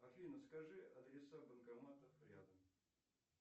афина скажи адреса банкоматов рядом